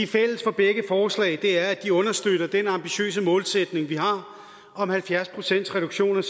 fælles for begge forslag er at de understøtter den ambitiøse målsætning vi har om halvfjerds pcts reduktion